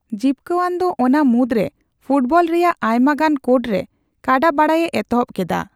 ᱡᱤᱯᱠᱟᱹᱣᱟᱱᱫᱚ ᱚᱱᱟ ᱢᱩᱫᱽᱨᱮ ᱯᱷᱩᱴᱵᱚᱞ ᱨᱮᱭᱟᱜ ᱟᱭᱢᱟᱜᱟᱱ ᱠᱳᱰᱨᱮ ᱠᱟᱰᱟᱵᱟᱲᱟᱭᱮ ᱮᱛᱚᱦᱚᱵ ᱠᱮᱫᱟ ᱾